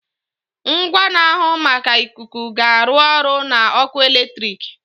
Ngwa na-ahụ maka ikuku ga-arụ ọrụ na ọkụ eletrik.